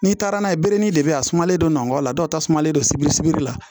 N'i taara n'a ye benni de be yen a sumalen don nɔngɔn la dɔw tasumalen don sibiri sibiri la